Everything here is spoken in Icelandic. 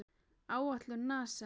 Áætlun NASA